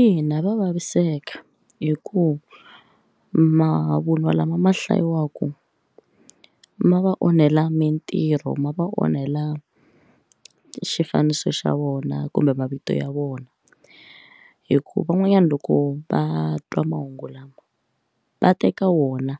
Ina va vaviseka hi ku mavunwa lama ma hlayiwaka ma va onhela mintirho ma va onhela xifaniso xa vona kumbe mavito ya vona hikuva van'wanyana loko va twa mahungu lawa va teka wona